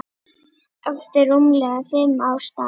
eftir rúmlega fimm ára starf.